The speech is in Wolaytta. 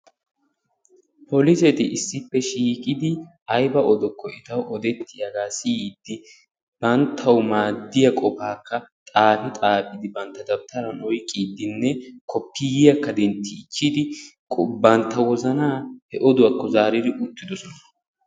Poliseti issippe shiiqidi aybba odokko etaw odettiyaaga siyyidi banttaw maaddiyaa qopakka xaafi xaafi bantta dabtaran oyqqiiddinne koppiyiyaakka denttichidi bantta wozanaa he odduwakko zaaridi uttidosona.